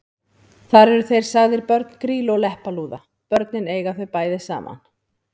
Þar eru þeir sagðir börn Grýlu og Leppalúða: Börnin eiga þau bæði saman